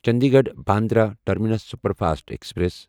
Chandigarh Bandra terminus superfast express